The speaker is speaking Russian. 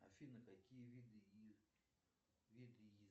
афина какие виды